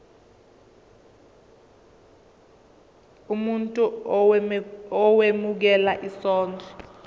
umuntu owemukela isondlo